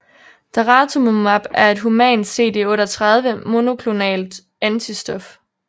Daratumumab er et humant CD38 monoklonalt antistof